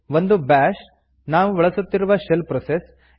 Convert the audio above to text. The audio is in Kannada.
ಒಂದು ಬ್ಯಾಷ್ ನಾವು ಬಳಸುವ ಶೆಲ್ ಪ್ರೋಸೆಸ್